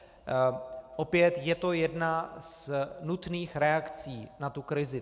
Opět, je to jedna z nutných reakcí na tu krizi.